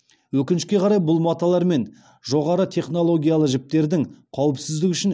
өкінішке қарай бұл маталар мен жоғары технологиялы жіптердің қауіпсіздігі үшін